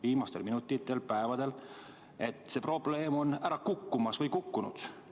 Viimastel minutitel-päevadel on selgunud, et see probleem on ära kukkumas või kukkunud.